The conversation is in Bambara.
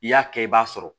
I y'a kɛ i b'a sɔrɔ